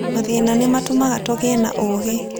Mathĩna nĩ matũmaga tũgĩe na ũũgĩ.